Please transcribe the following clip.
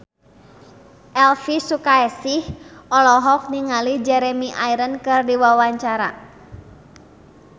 Elvi Sukaesih olohok ningali Jeremy Irons keur diwawancara